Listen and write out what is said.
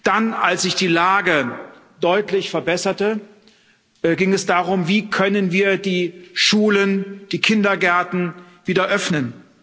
Dann, als sich die Lage deutlich verbesserte, ging es darum Wie können wir die Schulen, die Kindergärten wieder öffnen?